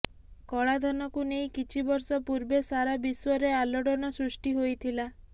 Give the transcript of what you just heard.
କଳାଧନକୁ ନେଇ କିଛି ବର୍ଷ ପୂର୍ବେ ସାରା ବିଶ୍ବରେ ଆଲୋଡ଼ନ ସୃଷ୍ଟି ହୋଇଥିଲା